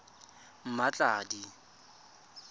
mmatladi